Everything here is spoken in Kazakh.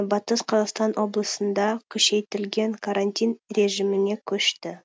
батыс қазақстан облысында күшейтілген карантин режиміне көшті